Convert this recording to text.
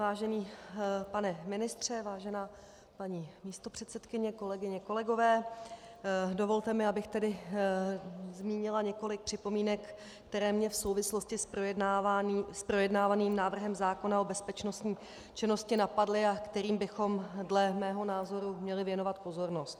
Vážený pane ministře, vážená paní místopředsedkyně, kolegyně, kolegové, dovolte mi, abych tedy zmínila několik připomínek, které mě v souvislosti s projednávaným návrhem zákona o bezpečnostní činnosti napadly a kterým bychom dle mého názoru měli věnovat pozornost.